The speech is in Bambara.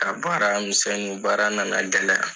Ka baara misɛnninw baara na na gɛlɛya.